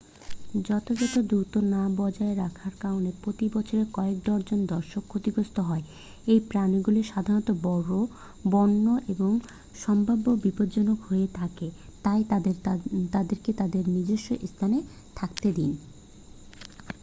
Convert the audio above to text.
যথাযথ দূরত্ব না বজায় রাখার কারণে প্রতি বছর কয়েক ডজন দর্শক ক্ষতিগ্রস্ত হয় এই প্রাণীগুলি সাধারণত বড় বন্য এবং সম্ভাব্য বিপজ্জনক হয়ে থাকে তাই তাদেরকে তাদের নিজস্ব স্থানে থাকতে দিন